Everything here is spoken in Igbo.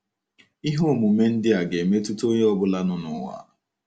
Ihe omume ndị a ga-emetụta onye ọ bụla nọ n'ụwa.